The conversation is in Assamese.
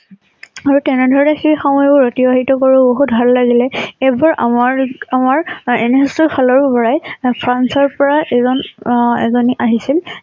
আৰু তেনে ধৰণে সেই সময় বোৰ অতিবাহিত কৰিব বহুত ভাল লাগিলে । এবাৰ আমাৰ আমাৰ এ NSS ৰ ফালৰ পৰাই ফ্ৰান্স ৰ পৰা এজন আহ এজনী আহিছিল